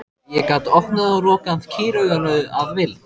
Ég gat opnað og lokað kýrauganu að vild.